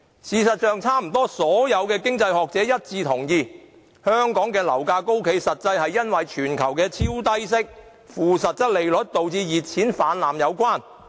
事實上，差不多所有經濟學者都一致同意，香港的樓價高企與全球超低息、負實際利率，導致熱錢泛濫有關。